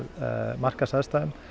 markaðsaðstæðum